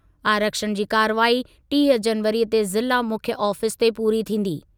आरक्षण जी कार्रवाई टीह जनवरीअ ते ज़िला मुख्यु आफीस ते पूरी थींदी।